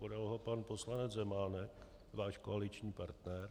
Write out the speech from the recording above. Podal ho pan poslanec Zemánek, váš koaliční partner.